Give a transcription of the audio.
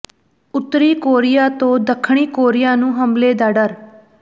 ਉੱਤਰੀ ਕੋਰੀਆ ਤੋਂ ਦੱਖਣੀ ਕੋਰੀਆ ਨੂੰ ਹਮਲੇ ਦਾ ਡਰ